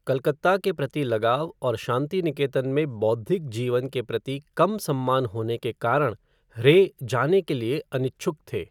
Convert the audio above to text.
कलकत्ता के प्रति लगाव और शांतिनिकेतन में बौद्धिक जीवन के प्रति कम सम्मान होने के कारण रे जाने के लिए अनिच्छुक थे।